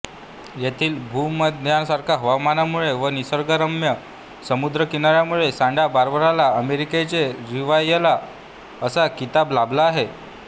येथील भूमध्यसारख्या हवामानामुळे व निसर्गरम्य समुद्रकिनाऱ्यांमुळे सँटा बार्बराला अमेरिकेचे रिव्हिएरा असा खिताब लाभला आहे